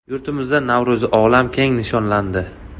Yurtimizda Navro‘zi olam keng nishonlandi.